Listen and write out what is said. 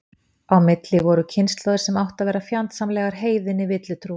Á milli voru margar kynslóðir sem áttu að vera fjandsamlegar heiðinni villutrú.